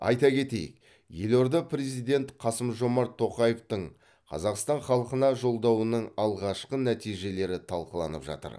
айта кетейік елорда президент қасым жомарт тоқаевтың қазақстан халқына жолдауының алғашқы нәтижелері талқыланып жатыр